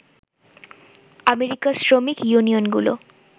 আমেরিকার শ্রমিক ইউনিয়নগুলো